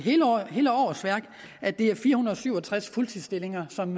hele årsværk at det er fire hundrede og syv og tres fuldtidsstillinger som